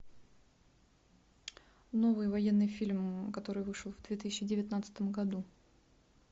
новый военный фильм который вышел в две тысячи девятнадцатом году